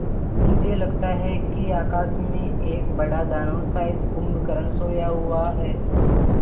मुझे लगता है कि आकाश में एक बड़ा दानव शायद कुंभकर्ण सोया हुआ है